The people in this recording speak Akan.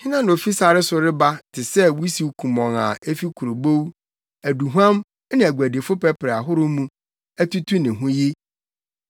Hena na ofi sare so reba te sɛ wusiw kumɔnn a efi kurobow, aduhuam ne aguadifo pɛprɛ ahorow mu, atutu ne ho yi?